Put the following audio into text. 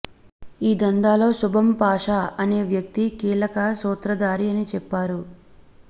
ఈ దందాలో శుభమ్ పాషా అనే వ్యక్తి కీలక సూత్రధారి అని చెప్పారు